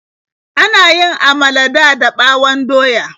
Ana yin amala dada ɓawon doya.